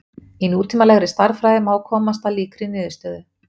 Í nútímalegri stærðfræði má komast að líkri niðurstöðu.